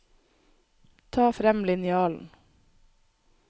Ta frem linjalen